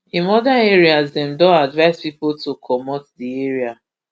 in oda areas dem don advise pipo to comot di area